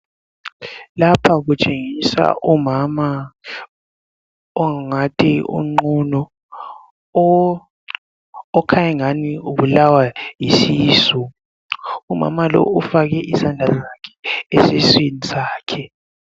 Lapha kutshengisa omama ongathi unqunu okhanya engathi ubulawa yisisu umama lowu ufake isandla sakhe esiswini sakhe